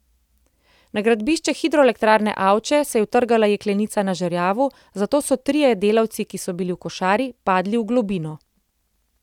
Na gradbišču hidroelektrarne Avče se je utrgala jeklenica na žerjavu, zato so trije delavci, ki so bili v košari, padli v globino.